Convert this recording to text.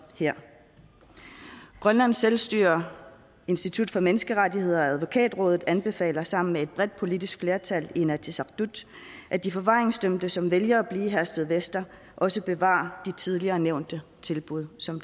grønlands selvstyres institut for menneskerettigheder og advokatrådet anbefaler sammen med et bredt politisk flertal i inatsisartut at de forvaringsdømte som vælger at blive i herstedvester også bevarer de tidligere nævnte tilbud som